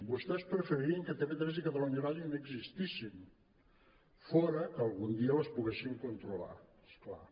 vostès preferirien que tv3 i catalunya ràdio ni existissin fora que algun dia les poguessin controlar és clar